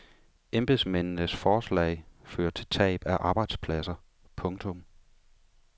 Embedsmændenes forslag fører til tab af arbejdspladser. punktum